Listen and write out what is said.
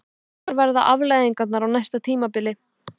Hverjar verða afleiðingarnar á næsta tímabili?